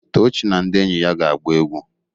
Tochi na ndi enyi ya ga-agba egwu.